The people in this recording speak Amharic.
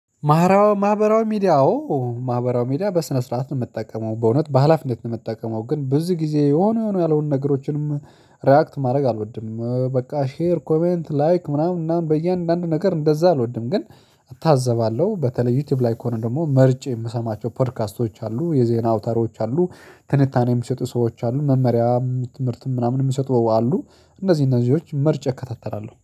ማህበራው ማህበራዊ ሚዲያ አዎ ማህበራዊ ሚዲያ በስነ ስርዓት ነው የምጠቀመው በእውነት በሃላፊነት ነው የምጠቀመው። ግን በዚህ ጊዜ የሆነ የሆነ ያልሆኑ ነገሮችንም ሪያክት ማድረግ አልወድም በቃ ሼር ኮሜንት ላይክ ምናምን እና በእያንዳንዱ ነገር እንደዛ አልወድም። ግን እታዘባለሁ በተለይ ዩቲዩብ ላይ ከሆነ ደግሞ መርጬ የምሰማቸው ፖድካስቶች አሉ የዜና አውታሮች አሉ ትንታኔ የሚሰጡ ሰዎች አሉ። መመሪያ ትምህርትም ምናምን የሚሰጡ አሉ። እነዚህ እነዚህዎች መርጬ እከታተላለሁ